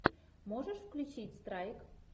можешь включить страйк